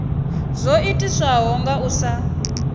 zwo itiswa nga u sa